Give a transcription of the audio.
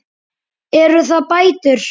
Eru það bætur?